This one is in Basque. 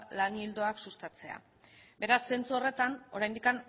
lan ildoak sustatzea beraz zentzu horretan oraindik